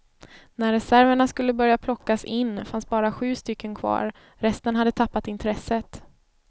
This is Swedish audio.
När reserverna skulle börja plockas in fanns bara sju stycken kvar, resten hade tappat intresset.